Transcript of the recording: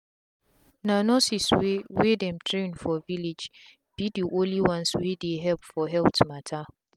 na nurses wey wey dem train for village be the only ones wey dey help for health matter.